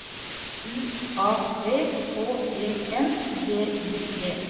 U A V H E N G I G